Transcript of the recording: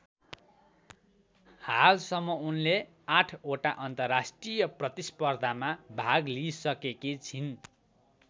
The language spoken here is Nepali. हालसम्म उनले ८ वटा अन्तर्राष्ट्रिय प्रतिस्पर्धामा भाग लिइसकेकी छिन्।